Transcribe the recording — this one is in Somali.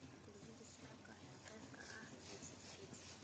Kulamada shacabka ayaa qeyb ka ah siyaasada Kenya.